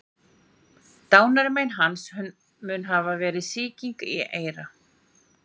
Dánarmein hans mun hafa verið sýking í eyra.